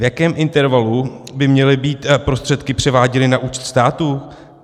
V jakém intervalu by měly být prostředky převáděny na účet státu?